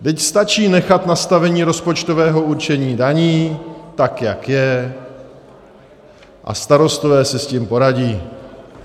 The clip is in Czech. Vždyť stačí nechat nastavení rozpočtového určení daní, tak jak je, a starostové si s tím poradí.